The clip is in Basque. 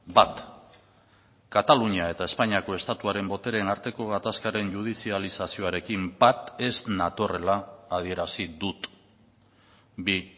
bat katalunia eta espainiako estatuaren botereen arteko gatazkaren judizializazioarekin bat ez natorrela adierazi dut bi